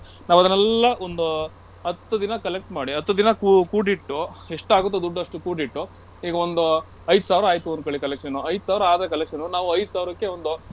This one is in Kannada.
ನಾವು ಅದನೆಲ್ಲಾ ಒಂದು ಹತ್ತು ದಿನ collect ಮಾಡಿ ಹತ್ತು ದಿನ ಕೂ~ ಕೂಡಿಟ್ಟು ಎಷ್ಟು ಆಗುತ್ತೋ ದುಡ್ಡು ಅಷ್ಟು ಕೂಡಿಟ್ಟು ಈಗ ಒಂದೂ ಐದ್ ಸಾವ್ರ ಆಯ್ತು ಅಂದ್ಕೊಳ್ಳಿ collection ಐದ್ ಸಾವ್ರ ಆದ್ರೆ collection ಉ ನಾವು ಐದ್ ಸಾವ್ರಕ್ಕೆ ಒಂದು.